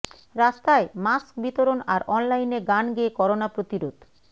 রাস্তায় মাস্ক বিতরণ আর অনলাইনে গান গেয়ে করোনা প্রতিরোধ